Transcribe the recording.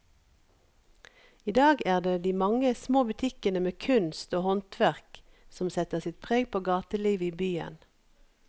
I dag er det de mange små butikkene med kunst og håndverk som setter sitt preg på gatelivet i byen.